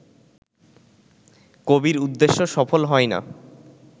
কবির উদ্দেশ্য সফল হয় না